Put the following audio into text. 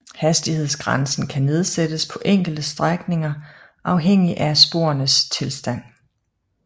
Hastighedsgrænsen kan nedsættes på enkelte strækninger afhængig af sporenes tilstand